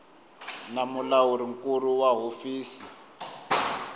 na mulawuri nkulu wa hofisi